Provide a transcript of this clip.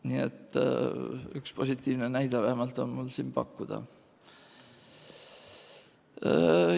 Nii et üks positiivne näide vähemalt on mul siin pakkuda.